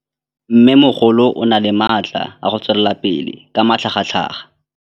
Mmêmogolo o na le matla a go tswelela pele ka matlhagatlhaga.